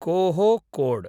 कोहोकोड्